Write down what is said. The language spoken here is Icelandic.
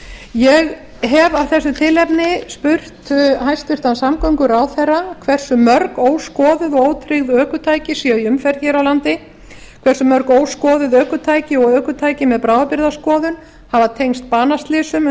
ég hef af þessu tilefni spurt hæstvirtur samgönguráðherra hversu mörg óskoðuð og ótryggð ökutæki séu í umferð hér á landi hversu mörg óskoðuð ökutæki og ökutæki með bráðabirgðaskoðun hafa tengst banaslysum